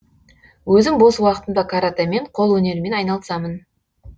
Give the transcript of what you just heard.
өзім бос уақытымда каратэмен қол өнерімен айналысамын